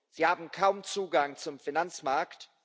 Sie haben kaum Zugang zum Finanzmarkt